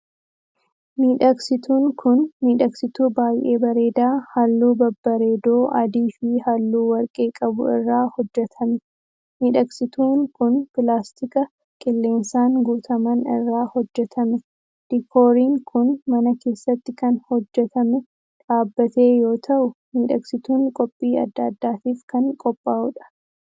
Midhagsiitun kun, midhagsitu baay'ee bareedaa haalluu babbareedoo adii fi haalluu warqee qabu irraa hojjatame. Midhagsituun kun, pilaastika qilleensaan guutaman irraa hojjatame. Diikooriin kun, mana keessatti kan hojjatame dhaabbate yoo ta'u, midhagsituun qophii adda addaatif kan qophaa'u dha.